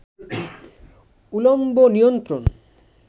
উলম্ব নিয়ন্ত্রণ